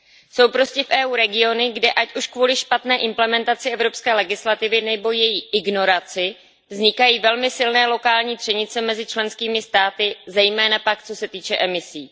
Jsou prostě v EU regiony, kde ať už kvůli špatné implementaci evropské legislativy nebo její ignoraci vznikají velmi silné lokální třenice mezi členskými státy, zejména pak co se týče emisí.